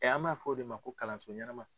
an b'a fɔ o de ma ko kalanso ɲɛnɛma.